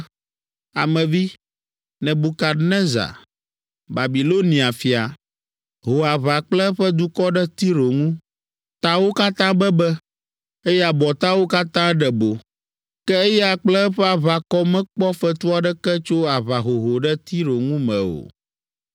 “Ame vi, Nebukadnezar, Babilonia fia, ho aʋa kple eƒe dukɔ ɖe Tiro ŋu; tawo katã bebe, eye abɔtawo katã ɖe bo. Ke eya kple eƒe aʋakɔ mekpɔ fetu aɖeke tso aʋahoho ɖe Tiro ŋu me o.